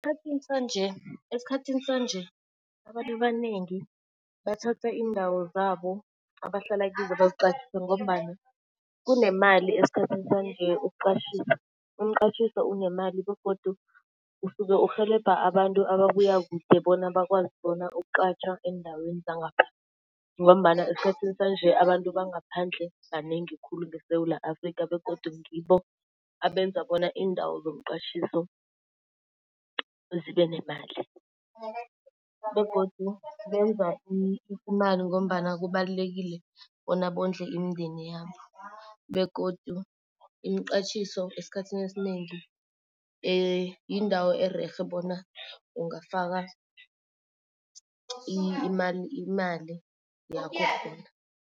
Esikhathini sanje esikhathini sanje abantu abanengi bathatha iindawo zabo abahlala kizo baziqatjhise ngombana kunemali esikhathini sanje ukuqatjhisa. Umqatjhiso unemali begodu usuke urhelebha abantu ababuya kude bona bakwazi bona ukuqatjha eendaweni zangapha ngombana esikhathini sanje abantu bangaphandle banengi khulu ngeSewula Afrikha begodu ngibo abenza indawo zomqatjhiso zibe nemali. Begodu benza imali ngombana kubalulekile bona bondle imindeni yabo. Begodu imiqatjhiso esikhathini esinengi yindawo ererhe bona ungafaka imali yakho khona.